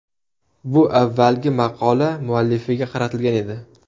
Bu avvalgi maqola muallifiga qaratilgan edi.